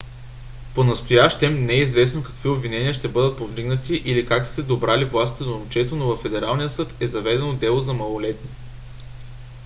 понастоящем не е известно какви обвинения ще бъдат повдигнати или как са се добрали властите до момчето но във федералния съд е заведено дело за малолетни